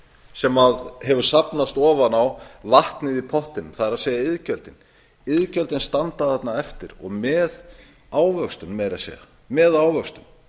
sem hefur safnast ofan á vatnið í pottinum það er iðgjöldin iðgjöldin standa þarna eftir og meira að segja með ávöxtun